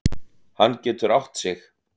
Hann getur átt sig.